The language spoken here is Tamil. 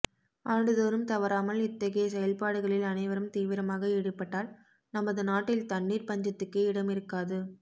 ஆண்டுதோறும் தவறாமல் இத்தகைய செயல்பாடுகளில் அனைவரும் தீவிரமாக ஈடுபட்டால் நமது நாட்டில் தண்ணீர்ப் பஞ்சத்துக்கே இடமிருக்காது